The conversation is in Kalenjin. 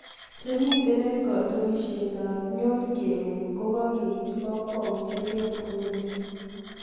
Chemitei eng katunisiet ap nyo kemeny ko kakeipchii kakwautiet eng Burundi